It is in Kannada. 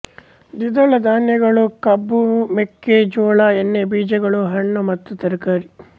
ದ್ವಿದಳ ಧಾನ್ಯಗಳು ಕಬ್ಬು ಮೆಕ್ಕೆ ಜೋಳ ಎಣ್ಣೆ ಬೀಜಗಳು ಹಣ್ಣು ಮತ್ತ ತರಕಾರಿ